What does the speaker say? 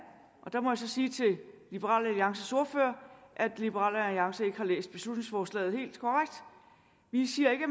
jeg må så sige til liberal alliances ordfører at liberal alliance ikke har læst beslutningsforslaget helt korrekt vi siger ikke at